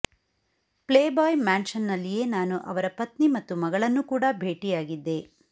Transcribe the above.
playboy mansion ನಲ್ಲಿಯೇ ನಾನು ಅವರ ಪತ್ನಿ ಮತ್ತು ಮಗಳನ್ನು ಕೂಡ ಭೇಟಿಯಾಗಿದ್ದೆ